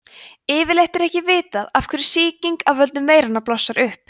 yfirleitt er ekki vitað af hverju sýking af völdum veiranna blossar upp